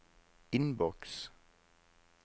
innboks